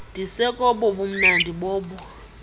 ndisekobo bumnandi bobo